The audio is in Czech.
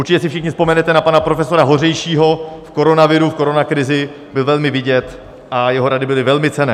Určitě si všichni vzpomenete na pana profesora Hořejšího - v koronaviru, v koronakrizi byl velmi vidět a jeho rady byly velmi cenné.